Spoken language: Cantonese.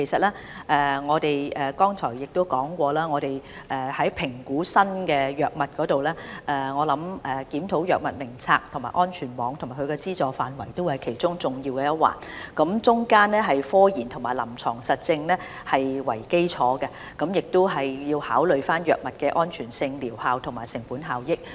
其實，我剛才已提到，在評估新藥物方面，我相信檢討《藥物名冊》、安全網及其資助範圍也是其中重要一環，這是以科研及臨床實證為基礎，亦要考慮藥物的安全性、療效及成本效益。